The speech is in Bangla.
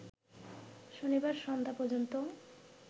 শনিবার সন্ধ্যা পর্যন্ত